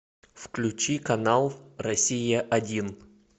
включи канал россия один